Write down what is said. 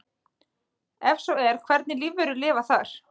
Ef svo er hvernig lífverur lifa þar?